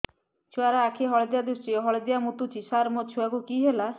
ଛୁଆ ର ଆଖି ହଳଦିଆ ଦିଶୁଛି ହଳଦିଆ ମୁତୁଛି ସାର ମୋ ଛୁଆକୁ କି ହେଲା